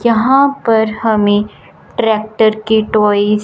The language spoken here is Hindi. यहां पर हमें ट्रैक्टर के टॉयज --